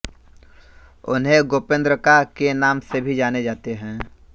उन्हें गोपेन्द्रका के नाम से भी जाने जाते थे